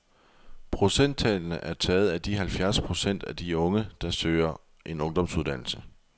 Procenttallene er taget af de halvfjerds procent af de unge, der søger en ungdomsuddannelse.